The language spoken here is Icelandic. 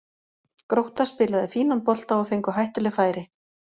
Grótta spilaði fínan bolta og fengu hættuleg færi.